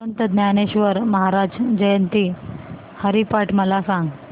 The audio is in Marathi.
संत ज्ञानेश्वर महाराज जयंती हरिपाठ मला सांग